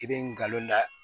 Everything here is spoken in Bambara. I bɛ ngalon da